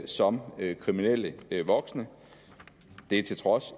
som kriminelle voksne det til trods